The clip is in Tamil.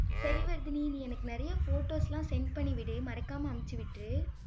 சரி, வர்தினி நீ எனக்கு நிறைய photos எல்லாம் send பண்ணி விடு, மறக்காம அனுப்பிச்சு விட்ரு,